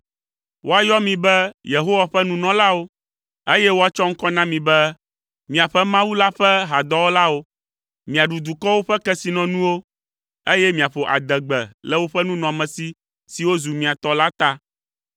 Woayɔ mi be Yehowa ƒe nunɔlawo, eye woatsɔ ŋkɔ na mi be, miaƒe Mawu la ƒe hadɔwɔlawo. Miaɖu dukɔwo ƒe kesinɔnuwo, eye miaƒo adegbe le woƒe nunɔamesi siwo zu mia tɔ la ta.